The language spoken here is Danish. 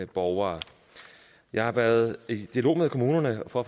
borgere jeg har været i dialog med kommunerne for